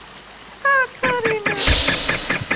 Katarínus, opnaðu dagatalið mitt.